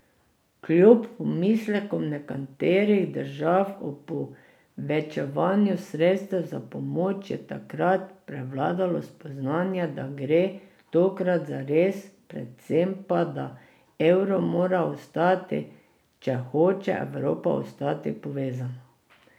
Kljub pomislekom nekaterih držav o povečevanju sredstev za pomoč, je tokrat prevladalo spoznanje, da gre tokrat za res, predvsem pa, da evro mora ostati, če hoče Evropa ostati povezana.